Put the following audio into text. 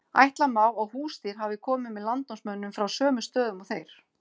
ætla má að húsdýr hafi komið með landnámsmönnum frá sömu stöðum og þeir